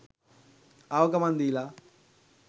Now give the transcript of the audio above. ආව ගමන් දීලා